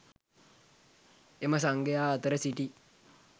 එම සංඝයා අතර සිටි